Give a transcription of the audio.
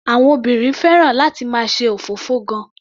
Àwọn obìnrin fẹ́ràn láti máa ṣe òfófó gan-an.